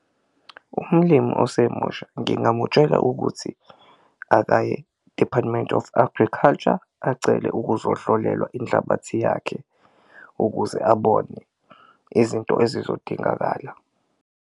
Umulimu osemusha ngingamutshela ukuthi akaye e-Department of Agriculture acele ukuzohlolelwa inhlabathi yakhe ukuze abone izinto ezizodingakala.